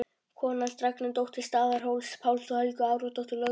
Kona hans var Ragnheiður, dóttir Staðarhóls-Páls og Helgu Aradóttur, lögmanns